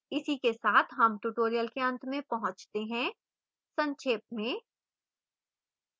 इसी के साथ हम tutorial के अंत में पहुंचते हैं संक्षेप में